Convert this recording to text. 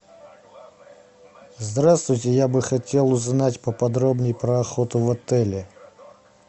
здравствуйте я бы хотел узнать поподробней про охоту в отеле